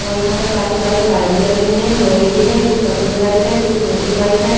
और यहाँ पर काफी सारे पाइप भी लगे हुए हैं लोहे के हैं कुछ पतले पाइप हैं कुछ मोटे पाइप हैं।